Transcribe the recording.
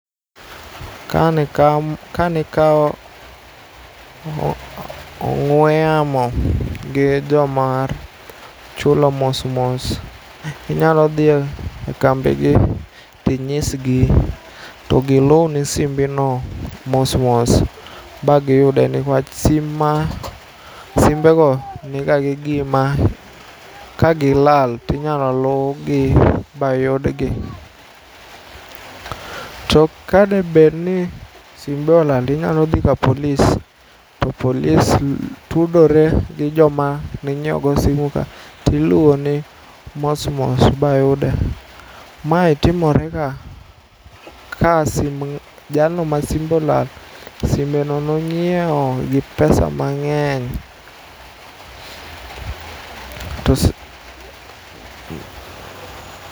Ka nikao ong'we yamo gi jomar chulo mosmos inyalo dhie kambigi tinyisgi togiluni simbino mosmos bagiyude niwach sim ma, simbego niga gi gima kagilal tinyalo lugi bayudgi. To kadebedni simbe olal tinyalodhi ka polis to polis tudore gi joma ninyiego simuka tiluoni mosmos bayude. Mae timorega ka jalno masimbe olal simbeno nonyieo gi pesa mang'eny to si